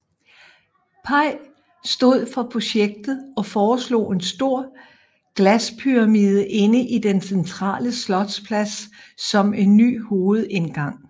Pei stod for projektet og foreslog en stor glaspyramide inde i den centrale slotsplads som en ny hovedindgang